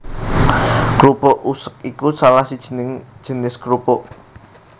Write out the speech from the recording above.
Krupuk usek iku salah sijining jinis krupuk